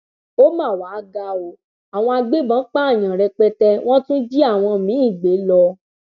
ó mà wáá ga ọ àwọn agbébọn pààyàn rẹpẹtẹ wọn tún jí àwọn míín gbé lọ